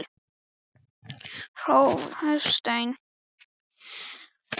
Fyrir Véstein, uppáhald sitt og englabarn, gerir hún allt.